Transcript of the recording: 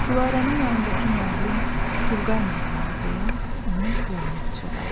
Gülarənin yanındakı müəllim Turqay müəllimdir deyə onun qulağına pıçıldadı.